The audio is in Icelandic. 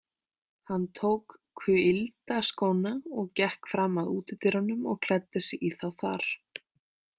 Hann tók kuyldaskóna og gekk fram að útidyrunum og klæddi sig í þá þar.